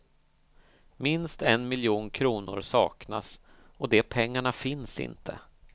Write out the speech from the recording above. Minst en miljon kronor saknas och de pengarna finns inte.